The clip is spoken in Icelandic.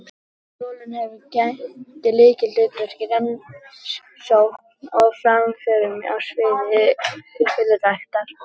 Skólinn hefur gegnt lykilhlutverki í rannsóknum og framförum á sviði ylræktar.